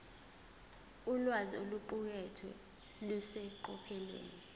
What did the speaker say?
ulwazi oluqukethwe luseqophelweni